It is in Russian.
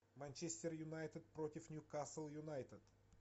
манчестер юнайтед против ньюкасл юнайтед